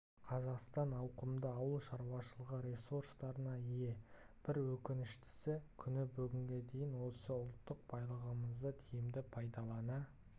қазақстан ауқымды ауыл шаруашылығы ресурстарына ие бір өкініштісі күні бүгінге дейін осы ұлттық байлығымызды тиімді пайдалана